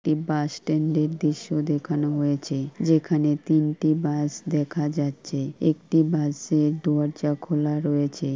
একটি bus stand -এর দৃশ্য দেখানো হয়েছে যেখানে তিনটি বাস দেখা যাচ্ছে। একটি বাস -এর দরজা খুলা রয়েছে ।